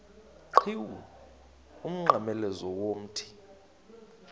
qhiwu umnqamlezo womthi